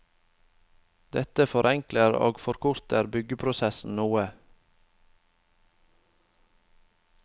Dette forenkler og forkorter byggeprosessen noe.